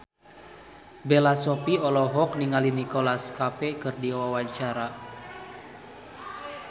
Bella Shofie olohok ningali Nicholas Cafe keur diwawancara